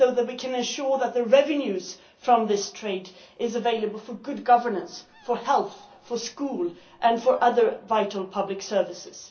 so that we can ensure that the revenue from this trade is available for good governance, for health, for schools and for other vital public services